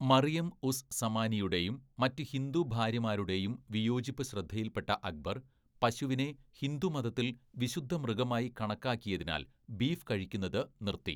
മറിയം ഉസ് സമാനിയുടെയും മറ്റ് ഹിന്ദു ഭാര്യമാരുടെയും വിയോജിപ്പ് ശ്രദ്ധയിൽപ്പെട്ട അക്ബർ പശുവിനെ ഹിന്ദു മതത്തിൽ വിശുദ്ധ മൃഗമായി കണക്കാക്കിയതിനാൽ ബീഫ് കഴിക്കുന്നത് നിർത്തി.